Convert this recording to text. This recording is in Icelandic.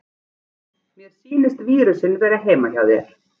Mér sýnist vírusinn vera heima hjá þér.